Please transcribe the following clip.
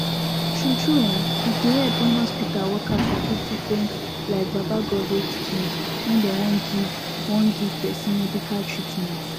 true true um e dey epp wen hospital workers sabi different like baba Godeh teachings wen dem wan give wan give person medical treatment